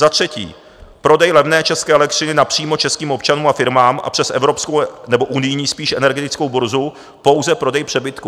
Za třetí - prodej levné české elektřiny napřímo českým občanům a firmám a přes evropskou - nebo unijní spíš - energetickou burzu pouze prodej přebytků.